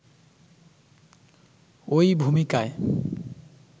ওই ভূমিকায়